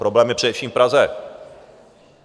Problém je především v Praze.